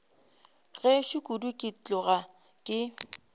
gešo kudu ke tloga ke